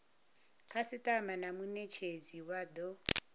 khasitama na munetshedzi vha do